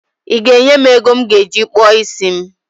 I ga enye m ego m ga eji kpụọ isi m?